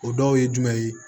O dɔw ye jumɛn ye